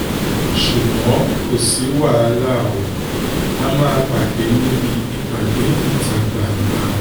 ṣùgbọ́n kò sí wàhálà ó a máa um pàdé níbi ìpàdé ìta um gbangba